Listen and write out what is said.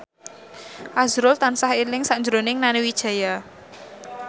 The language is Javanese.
azrul tansah eling sakjroning Nani Wijaya